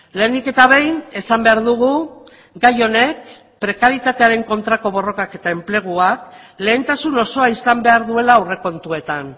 lehenik eta behin esan behar dugu gai honek prekaritatearen kontrako borrokak eta enpleguak lehentasun osoa izan behar duela aurrekontuetan